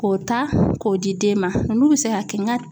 K'o ta k'o di den ma .N'u be se ka kɛ nga